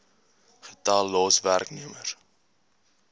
getal los werknemers